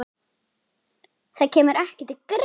Það kemur ekki til greina